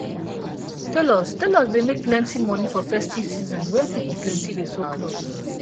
tailors tailors dey make plenti money for festive season wen people plenti dey sew cloth